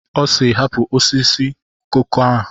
Ọ sịịrị, hapụ osisi koko a!